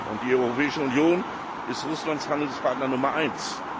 Und die Europäische Union ist Russlands Handelspartner Nummer eins.